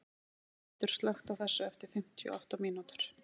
Þórmundur, slökktu á þessu eftir fimmtíu og átta mínútur.